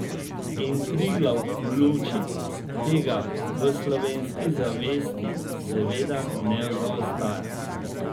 In Triglav v luči tega v slovenski zavesti seveda ne zaostaja.